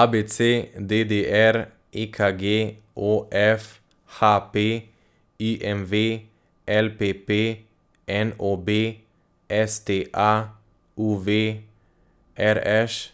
A B C; D D R; E K G; O F; H P; I M V; L P P; N O B; S T A; U V; R Š;